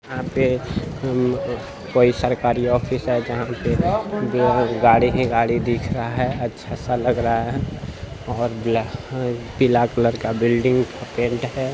यहाँ पे हम्म अ कोई सरकारी ऑफिस है जहाँ पे बब गाड़ी ही गाड़ी दिख रहा है। अच्छा-सा लग रहा है और ब्लैक पीला कलर का बिल्डिंग पेंट है ।